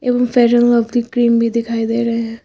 Fair lovely cream भी दिखाई दे रहे हैं।